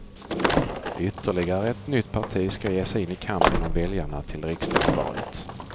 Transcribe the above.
Ytterligare ett nytt parti ska ge sig in i kampen om väljarna till riksdagsvalet.